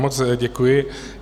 Moc děkuji.